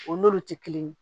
O n'olu tɛ kelen ye